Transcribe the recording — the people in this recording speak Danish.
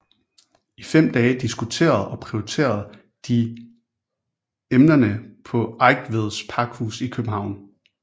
I fem dage diskuterede og prioriterede de emnerne på Eigtveds Pakhus i København